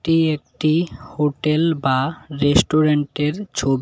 এটি একটি হোটেল বা রেস্টুরেন্টের ছবি।